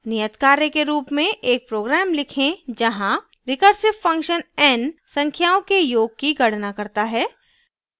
नियतकार्य के रूप में एक program लिखें जहाँ recursive function n संख्याओं के योग की गणना करता है